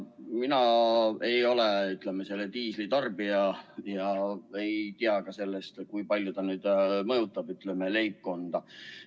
Mina ei ole selle diislikütuse tarbija ega tea, kui palju selle hind mõjutab leibkonda.